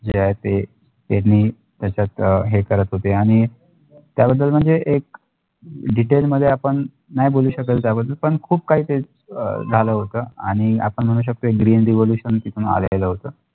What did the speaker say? जे आहे ते त्यांनी त्याच्यात अ हे करत होते आणि त्या नंतर हे एक detail मध्ये आपण नाही बोलू शकला त्या बद्दल पण खुप काही ते झालं होता आणि आपण म्हणू शकतो green revolution तिथून आलेल होत